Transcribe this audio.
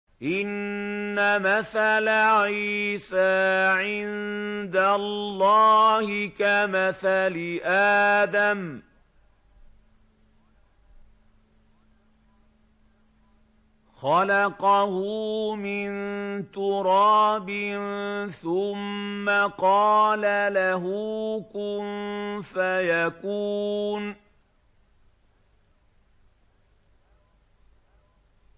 إِنَّ مَثَلَ عِيسَىٰ عِندَ اللَّهِ كَمَثَلِ آدَمَ ۖ خَلَقَهُ مِن تُرَابٍ ثُمَّ قَالَ لَهُ كُن فَيَكُونُ